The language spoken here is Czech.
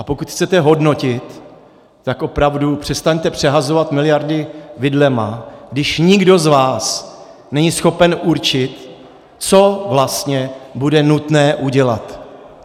A pokud chcete hodnotit, tak opravdu přestaňte přehazovat miliardy vidlemi, když nikdo z vás není schopen určit, co vlastně bude nutné udělat.